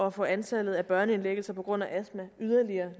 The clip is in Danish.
at få antallet af børneindlæggelser på grund af astma yderligere